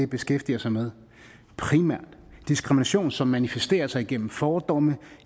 beskæftiger sig med diskrimination som manifesterer sig gennem fordomme